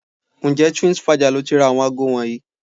Ǹjẹ́ Twinsfaja lo ti ra àwọn aago wọ̀nyí?